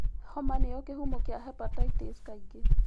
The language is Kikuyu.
Homa nĩyo kĩhumo kĩa hepatitis kaingĩ.